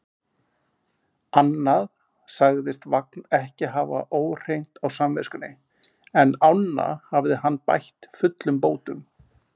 Annað sagðist Vagn ekki hafa óhreint á samviskunni, en ána hafði hann bætt fullum bótum.